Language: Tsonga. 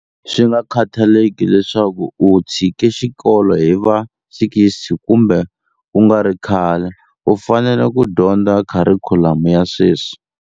Swingakhathaleki leswaku u tshike xikolo hi va 60 kumbe kungari khale, u fanele ku dyondza kharikhulamu ya sweswi.